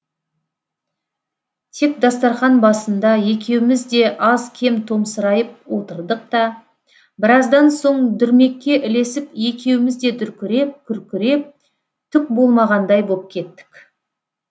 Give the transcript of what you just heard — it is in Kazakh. тек дастарқан басында екеуміз де аз кем томсырайып отырдық та біраздан соң дүрмекке ілесіп екеуміз де дүркіреп күркіреп түк болмағандай боп кеттік